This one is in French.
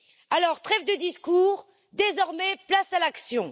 Alors, trêve de discours, désormais place à l'action!